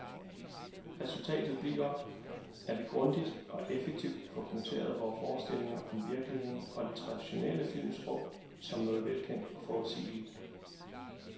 Resultatet bliver, at vi grundigt og effektivt får punkteret vore forstillinger om virkeligheden, og det traditionelle filmsprog, som noget velkendt og forudsigeligt.